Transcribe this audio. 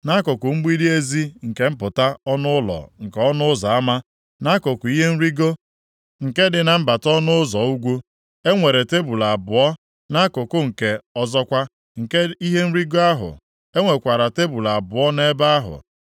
Nʼakụkụ mgbidi ezi nke mpụta ọnụ ụlọ nke ọnụ ụzọ ama, nʼakụkụ ihe nrigo nke dị na mbata ọnụ ụzọ ugwu, e nwere tebul abụọ, nʼakụkụ nke ọzọkwa nke ihe nrigo ahụ, e nwekwara tebul abụọ nʼebe ahụ.